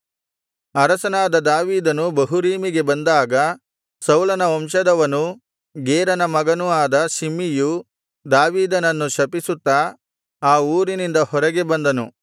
ಅರಸನಾದ ದಾವೀದನು ಬಹುರೀಮಿಗೆ ಬಂದಾಗ ಸೌಲನ ವಂಶದವನೂ ಗೇರನ ಮಗನೂ ಆದ ಶಿಮ್ಮೀಯು ದಾವೀದನನ್ನು ಶಪಿಸುತ್ತಾ ಆ ಊರಿನಿಂದ ಹೊರಗೆ ಬಂದನು